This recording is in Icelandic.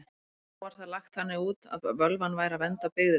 Þá var það lagt þannig út að völvan væri að vernda byggðirnar.